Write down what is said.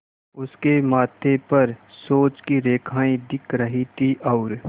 उसके माथे पर सोच की रेखाएँ दिख रही थीं और